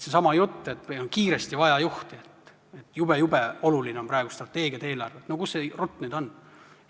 Seesama jutt, et meil on kiiresti vaja juhti, jube-jube oluline on, et praegu tuleb teha strateegiad ja eelarved – kus see rutt nüüd on?